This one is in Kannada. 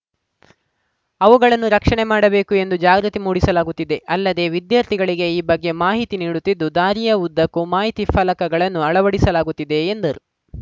ಅವುಗಳನ್ನು ರಕ್ಷಣೆ ಮಾಡಬೇಕು ಎಂದು ಜಾಗೃತಿ ಮೂಡಿಸಲಾಗುತ್ತಿದೆ ಅಲ್ಲದೆ ವಿದ್ಯಾರ್ಥಿಗಳಿಗೆ ಈ ಬಗ್ಗೆ ಮಾಹಿತಿ ನೀಡುತ್ತಿದ್ದು ದಾರಿಯ ಉದ್ದಕ್ಕೂ ಮಾಹಿತಿ ಫಲಕಗಳನ್ನು ಅಳವಡಿಸಲಾಗುತ್ತಿದೆ ಎಂದರು